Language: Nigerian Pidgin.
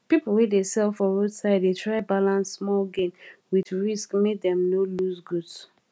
people wey dey sell for roadside dey try balance small gain with risk make dem no lose goods